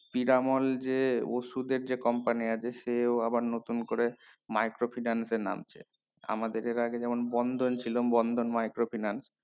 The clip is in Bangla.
পিরামল যে ওষুদের যে company আছে সেও আবার নতুন করে micro finance এর নামছে আমাদের এর আগে যেমন বন্ধন ছিল বন্ধন micro finance